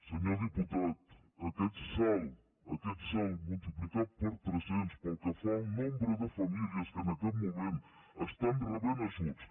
senyor diputat aquest salt multiplicar per tres·cents pel que fa al nombre de famílies que en aquest moment estan rebent ajuts